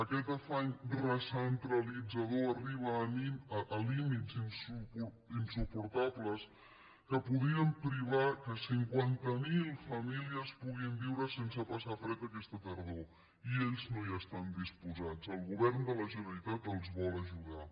aquest afany recentralitzador arriba a límits insuportables que podrien privar que cinquanta mil famílies puguin viure sense passar fred aquesta tardor i ells no hi estan disposats el govern de la generalitat els vol ajudar